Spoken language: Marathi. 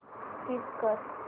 स्कीप कर